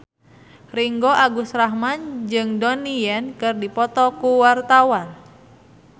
Ringgo Agus Rahman jeung Donnie Yan keur dipoto ku wartawan